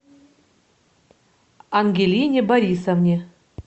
ангелине борисовне